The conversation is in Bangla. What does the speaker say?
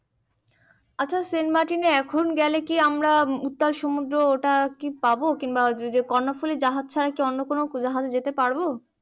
আচ্ছা সেন্ট মার্টিন এখন গেলে আমরা কি উত্তাল সমুদ্র ওটা কি পাবো কিংবা কর্ণফুলী জাহাজ ছাড়া অন্য কোনো জাহাজে যেতে পারবো